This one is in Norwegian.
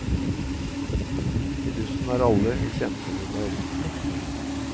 I bussen er alle i kjempehumør.